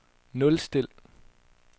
nulstil